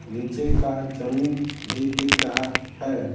नीचे का जमीन भी दिख रहा है ।